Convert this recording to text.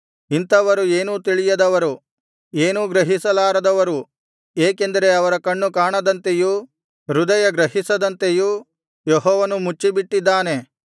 ಇಂಥವರು ಏನೂ ತಿಳಿಯದವರು ಏನೂ ಗ್ರಹಿಸಲಾರದವರು ಏಕೆಂದರೆ ಅವರ ಕಣ್ಣು ಕಾಣದಂತೆಯೂ ಹೃದಯ ಗ್ರಹಿಸದಂತೆಯೂ ಯೆಹೋವನು ಮುಚ್ಚಿಬಿಟ್ಟಿದ್ದಾನೆ